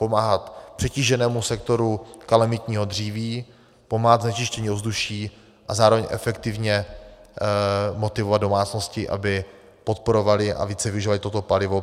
Pomáhat přetíženému sektoru kalamitního dříví, pomáhat znečištění ovzduší a zároveň efektivně motivovat domácnosti, aby podporovaly a více využívaly toto palivo.